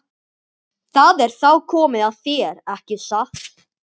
Það er þá komið að þér, ekki satt?